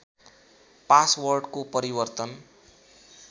पासवर्डको परिवर्तन